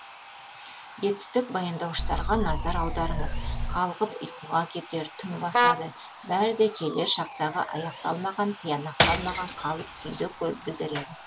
етістік баяндауыштарға назар аударыңыз қалғып ұйқыға кетер түн басады бәрі де келер шақтағы аяқталмаған тиянақталмаған қалып күйді білдіреді